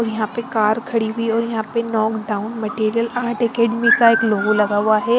और यहां पे कार खड़ी हुई है और यहां पे नॉकडाउन मटेरियल आर्ट एकेडमी का एक लोगो लगा हुआ है।